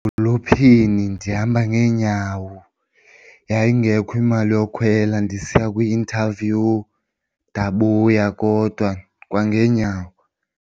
Edolophini ndihamba ngeenyawo yayingekho imali yokhwela ndisiya kwi-interview ndabuya kodwa kwangeenyawo.